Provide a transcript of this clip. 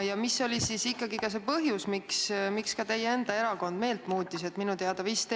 Ja mis oli ikkagi see põhjus, miks ka teie enda erakond meelt muutis?